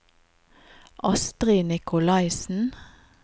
Astrid Nikolaisen